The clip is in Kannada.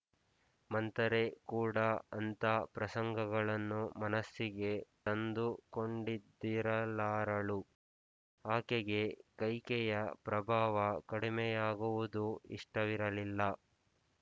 ಮಂಥರೆ ಕೂಡ ಅಂಥ ಪ್ರಸಂಗಗಳನ್ನು ಮನಸ್ಸಿಗೆ ತಂದುಕೊಂಡಿದ್ದಿರಲಾರಳು ಆಕೆಗೆ ಕೈಕೆಯ ಪ್ರಭಾವ ಕಡಿಮೆಯಾಗುವುದು ಇಷ್ಟವಿರಲಿಲ್ಲ